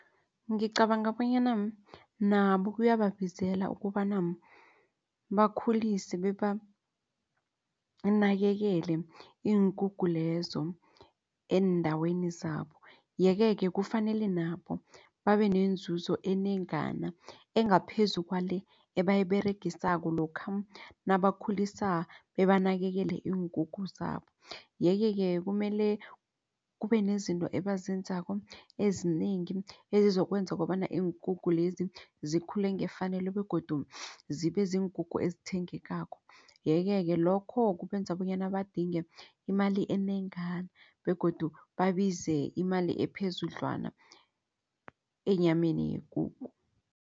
Ngicabanga bonyana nabo ukuyababizela ukobana bakhulise bebanakekele iinkukhu lezo eendaweni zabo. Yeke-ke kufanele nabo babe nenzuzo enengana engaphezu kwale ebayiberegisako lokha nabakhulisako bebanakekele iinkukhu zabo. Yeke-ke kumele kubenezinto ebazenzako ezinengi ezizokwenza kobana iinkukhu lezi zikhule ngefanelo begodu zibe ziinkukhu ezithengekako. Yeke-ke lokho kubenza bonyana badinga imali enengana begodu babize imali ephezudlwana enyameni yekukhu.